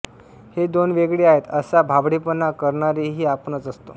हे दोन वेगळे आहेत असा भाबडेपणा करणारेही आपणच असतो